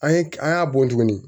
An ye k an y'a bɔn tuguni